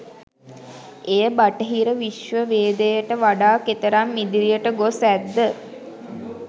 එය බටහිර විශ්වවේදයට වඩා කෙතරම් ඉදිරියට ගොස් ඇත්ද